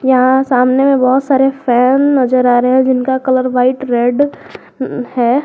यहां सामने में बहुत सारे फैन नजर आ रहे हैं जिनका कलर व्हाइट रेड है।